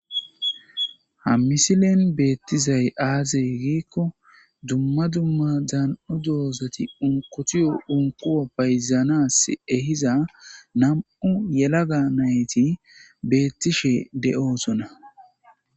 Ha misilen beettizay aaze giikko dumma dumma daan'o doozati unkotiyo unkuwo payzanas ehiza nam'u yelaga nayti beettishe de'oosona.